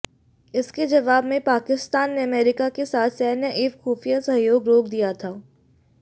इसके जवाब में पाकिस्तान ने अमेरिका के साथ सैन्य एवं खुफिया सहयोग रोक दिया था